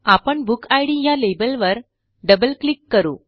आपण बुकिड या लेबलवर डबल क्लिक करू